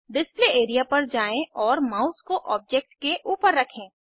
display area पर जाएँ और माउस को ऑब्जेक्ट के ऊपर रखें